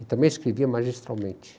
E também escrevia magistralmente.